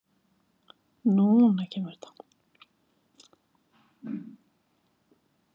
Vissuð þið það?